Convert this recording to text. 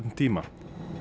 tíma